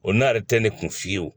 O n'a yɛrɛ tɛ ne kun fiyewu